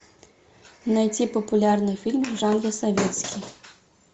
найти популярный фильм в жанре советский